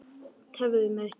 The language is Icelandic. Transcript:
Tefðu mig ekki.